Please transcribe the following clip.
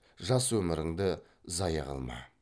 жас өміріңді зая қылма